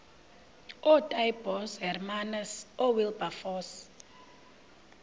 ootaaibos hermanus oowilberforce